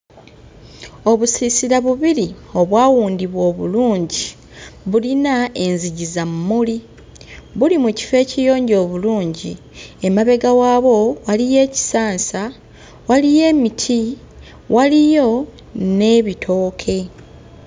Obusiisira bubiri obwawundibwa obulungi bulina enzigi za mmuli buli mu kifo ekiyonjo obulungi. Emabega waabwo waliyo ekisansa, waliyo emiti, waliyo n'ebitooke.